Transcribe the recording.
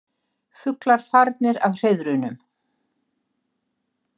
Fuglar farnir af hreiðrunum